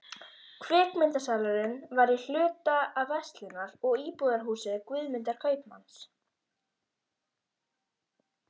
Kvikmyndasalurinn var í hluta af verslunar- og íbúðarhúsi Guðmundar kaupmanns.